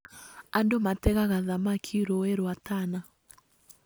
Andũ mategaga thamaki rũĩ rwa Tana